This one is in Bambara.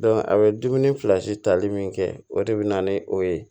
a bɛ dumuni fila si tali min kɛ o de bɛ na ni o ye